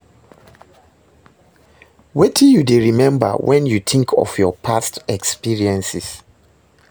Wetin you dey remember when you think of your past experiences?